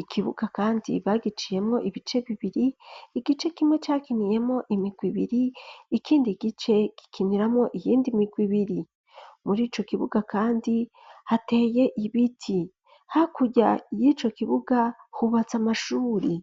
Ikibuga kandi bagiciyemwo ibice bibiri, igice kimwe cakiniyemwo imigwe ibiri ikindi gice gikiniramwo iyindi migwi ibiri. Muri ico kibuga kandi hateye ibiti. Hakurya y'ico kibuga hubatse amashure.